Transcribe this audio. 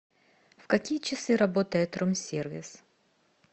в какие часы работает рум сервис